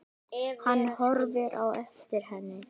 Hann horfir á eftir henni.